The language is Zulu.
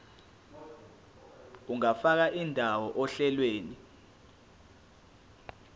ungafaka indawo ohlelweni